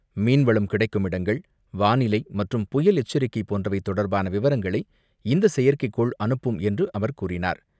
மீன்வளம் கிடைக்கும் இடங்கள், வானிலை மற்றும், புயல் எச்சரிக்கை போன்றவை தொடர்பான விவரங்களை இந்த செயற்கைக்கோள் அனுப்பும் என்று அவர் கூறினார்.